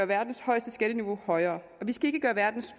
verdens højeste skatteniveau højere og vi skal ikke gøre verdens